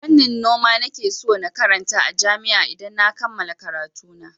Fannin noma nake so na karanta a jami'a idan na kammala karatuna.